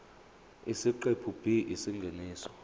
isiqephu b isingeniso